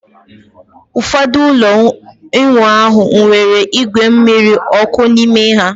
Ụfọdụ ụlọ ịwụ ahụ nwere igwe mmiri ọkụ n'ime ha